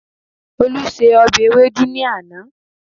Olú se ọbẹ̀ ewédú ní àná